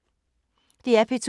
DR P2